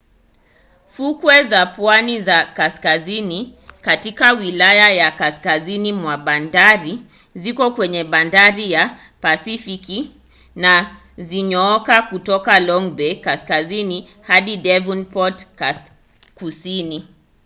fukwe za pwani ya kaskazini katika wilaya ya kaskazini mwa bandari ziko kwenye bahari ya pasifiki na zinyooka kutoka long bay kaskazini hadi devonport kusini